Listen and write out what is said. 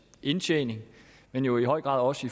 indtjening men jo i høj grad også